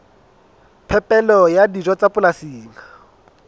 phepelo ya dijo tsa polasing